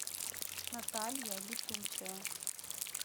наталья летучая